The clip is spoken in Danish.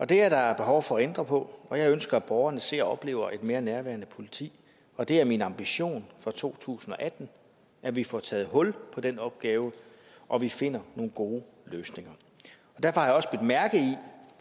det er der behov for at ændre på og jeg ønsker at borgerne ser og oplever et mere nærværende politi og det er min ambition for to tusind og atten at vi får taget hul på den opgave og vi finder nogle gode løsninger derfor har jeg også bidt mærke i